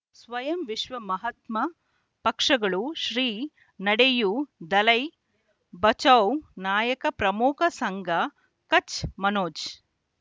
ಸ್ವಯಂ ವಿಶ್ವ ಮಹಾತ್ಮ ಪಕ್ಷಗಳು ಶ್ರೀ ನಡೆಯೂ ದಲೈ ಬಚೌ ನಾಯಕ ಪ್ರಮುಖ ಸಂಘ ಕಚ್ ಮನೋಜ್